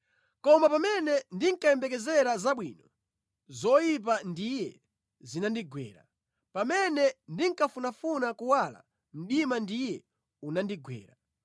Koma pamene ndinkayembekezera zabwino, zoyipa ndiye zinandigwera; pamene ndinkafunafuna kuwala, mdima ndiye unandigwera.